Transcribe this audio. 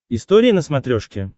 история на смотрешке